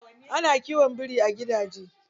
Ana kiwon biri a gidaje.